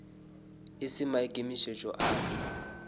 e se maikemišetšo a ka